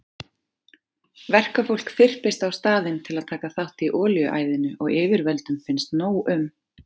Verkafólk þyrpist á staðinn til að taka þátt í olíuæðinu og yfirvöldum finnst nóg um.